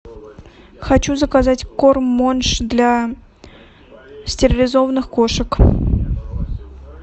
хочу заказать корм монж для стерилизованных кошек